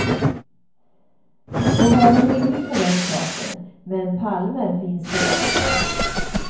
Må vara hur det vill med den saken, men palmer finns det gott om.